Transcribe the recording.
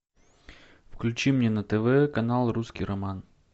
включи мне на тв канал русский роман